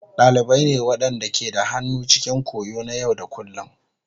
Dalibai ne waɗanda ke da hannu cikin koyo na yau da kullun.